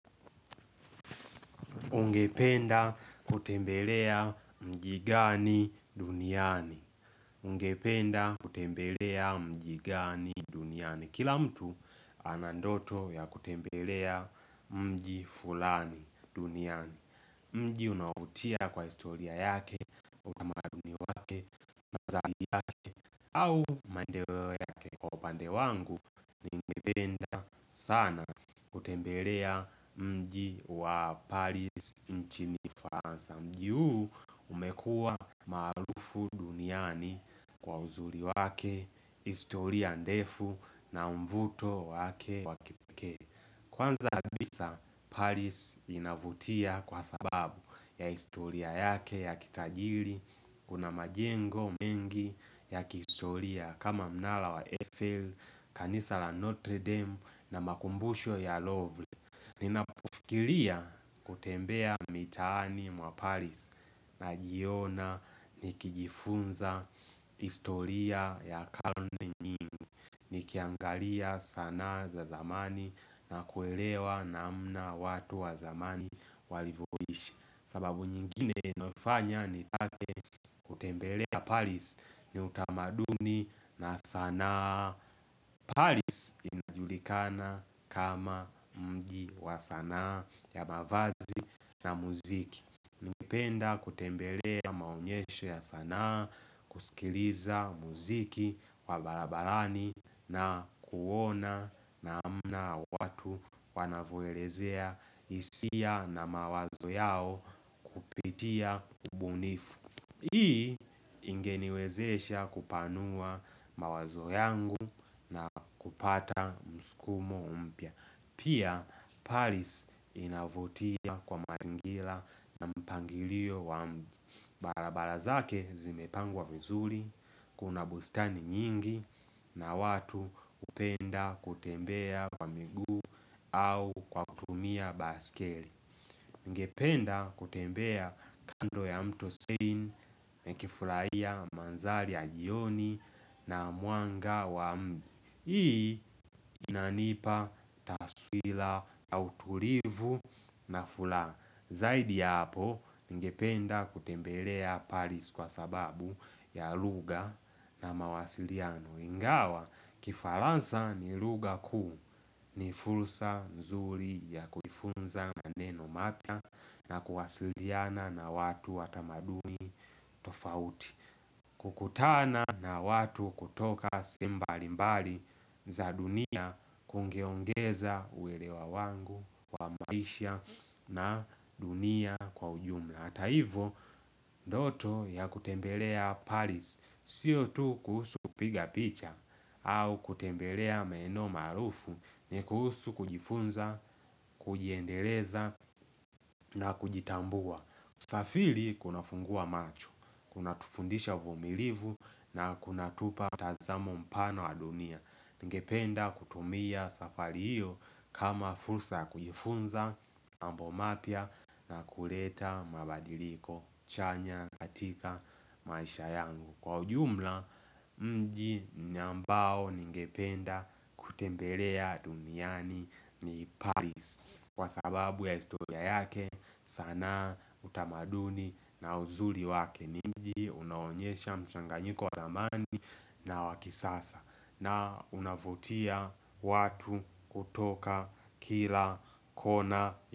Ungependa kutembelea mji gani duniani. Ungependa kutembelea mji gani duniani. Kila mtu ana ndoto ya kutembelea mji fulani duniani. Mji unawavutia kwa historia yake, utamake, vazaki yake, au mandeleo yake. Kwa bandewangu, ungependa sana kutembelea mji wa Paris nchini ufaransa. Mji huu umekua maarufu duniani kwa uzuri wake, historia ndefu na mvuto wake wa kipikee Kwanza kabisa, Paris inavutia kwa sababu ya historia yake ya kitajiri Kuna majengo mengi ya kistoria kama mnala wa Eiffel, kanisa la Notre Dame na makumbushwa ya Lovle Ninapofirilia kutembea mitani mwa paris na jiona nikijifunza historia ya karni nyingi Nikiangalia sana za zamani na kuelewa na mna watu wa zamani walivoishi sababu nyingine inofanya nitake kutembelea paris ni utamaduni na sanaa Paris inajulikana kama mgi wa sanaa ya mavazi na muziki Ningependa kutembelea maunyesho ya sanaa kusikiliza muziki wabarabarani na kuona namna watu wanavoelezea hisia na mawazo yao itia kubunifu Hii ingeniwezesha kupanua mawazo yangu na kupata mskumo mpya Pia Paris inavotia kwa mazingira na mpangilio wa mji barabara zake zimepangwa vizuri Kuna bustani nyingi na watu hupenda kutembea kwa miguu au kwa kutumia baikeli Ngependa kutembea kando ya mto sein, mekifurai ya manzali ya jioni na mwanga wa mbi Hii inanipa taswira ya utulivu na furaha Zaidi ya hapo ngependa kutembelea paris kwa sababu ya lugha na mawasiliano Ingawa kifaransa ni luga kuu ni fulsa nzuri ya kufunza na neno mata na kuwasiliana na watu watamadumi tofauti kukutana na watu kutoka simbali mbali za dunia kungeongeza uelewa wangu wa maisha na dunia kwa ujumla Hata hivo, ndoto ya kutembelea paris sio tu kuhusu kuiga picha au kutembelea maeneo marufu ni kuhusu kujifunza, kujiendeleza na kujitambua usafiri kunafunguwa macho, kunatufundisha humilivu na kuna upa tazamo mpano wa dunia Ngependa kutumia safari hiyo kama fursa kujifunza ambo mapya na kuleta mabadiliko chanya katika maisha yangu Kwa ujumla mji ni ambao ngependa kutembelea duniani ni Paris Kwa sababu ya historia yake sanaa utamaduni na uzuri wake niji unaonyesha mchanganyiko wa zamani na wakisasa na unavutia watu kutoka kila kona ya.